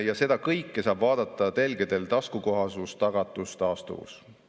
Ja seda kõike saab vaadata telgedel taskukohasus–tagatus–taastuvus.